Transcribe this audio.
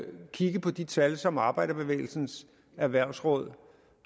kigge på de tal som arbejderbevægelsens erhvervsråd